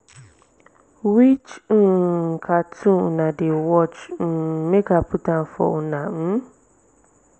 which um cartoon una wan watch um make i put am for una um